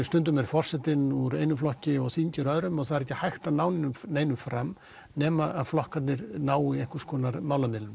stundum er forsetinn úr einum flokki og þingið úr öðrum og það er ekki hægt að ná neinu fram nema að flokkarnir nái málamiðlunum